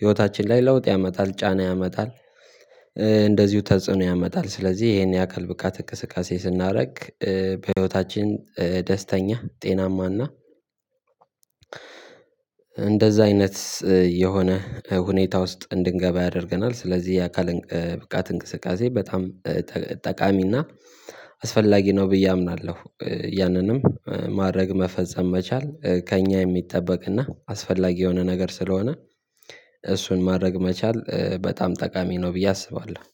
ህይወታችን ላይ ለውጥ ያመጣል ጫና ያመጣል። እንደዚሁ ተጽዕኖ ያመጣል ስለዚህ ይሄን የአካል ብቃት እንቅስቃሴ ስናደርግ በህይወታችን ደስተኛ ጤናማ እና እንደዛ አይነት የሆነ ሁኔታ ውስጥ እንድንገባ ያደርገናል። ስለዚህ የአካል ብቃት እንቅስቃሴ በጣም ጠቃሚና አስፈላጊ ነው ብዬ አምናለሁ። ያንንም ማድረግ መፈጸም መቻል ከእኛ የሚጠበቅ እና አስፈላጊ የሆነ ነገር ስለሆነ እሱን ማድረግ መቻል በጣም ጠቃሚ ነው። ብዬ አስባለሁ።